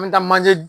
An bɛ taa manje